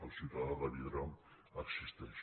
el ciutadà de vidre existeix